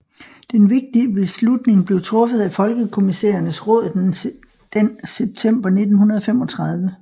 Den vigtige beslutning blev truffet af Folkekommissærernes råd den september 1935